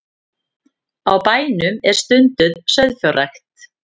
Á bænum er stunduð sauðfjárrækt